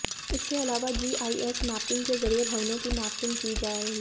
इसके अलावा GIS mapping के जरिए भवनों की मैपिंग की जा रही है